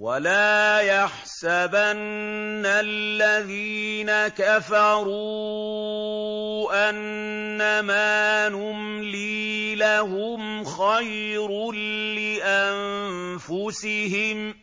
وَلَا يَحْسَبَنَّ الَّذِينَ كَفَرُوا أَنَّمَا نُمْلِي لَهُمْ خَيْرٌ لِّأَنفُسِهِمْ ۚ